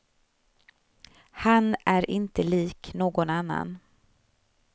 Han är inte lik någon annan.